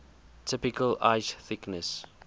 typical ice thickness